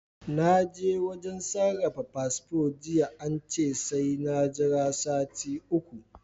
Na je wajen sarrafa fasfo jiya ance sai na Jira sati uku